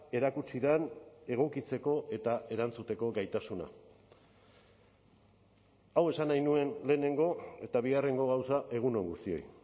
erakutsi den egokitzeko eta erantzuteko gaitasuna hau esan nahi nuen lehenengo eta bigarrengo gauza egun on guztioi